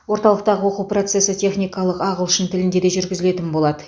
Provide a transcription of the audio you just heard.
орталықтағы оқу процесі техникалық ағылшын тілінде де жүргізілетін болады